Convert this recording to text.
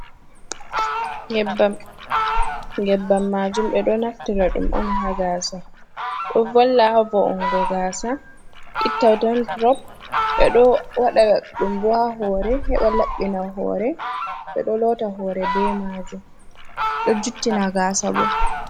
Nyebam, nyebam majuum ɓe ɗo naftira ɗum on ha gaasa do valla ha vo on go gaasa itta dandurov, ɓe ɗo waɗa ɗum bo ha hore, heɓa laɓɓina hore, be ɗo lotta hore be majuum ɗo juttina gasa bo.